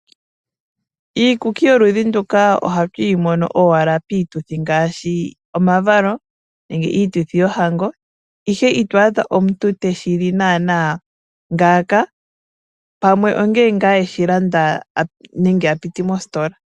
Iikuki yoludhi nduka ohatu yi mono owala piituthi ngaashi omavalo nenge iituthi yohango, ihe ito adha omuntu te shi li naana ngaaka, pamwe ongele ngaa eshi landa nenge a piti mositola.